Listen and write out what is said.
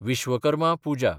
Vishwakarma Puja